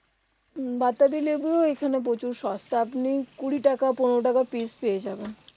বাতাবি লেবু এখানে প্রচুর সস্তা তো আপনি কুড়ি টাকা পনেরো টাকা পিস্ পেয়ে যাবেন